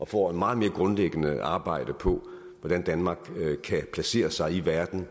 får et meget mere grundlæggende arbejde på hvordan danmark kan placere sig i verden